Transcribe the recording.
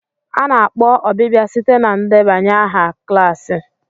A na-akpọ ọbịbịa site na ndebanye aha klaasị.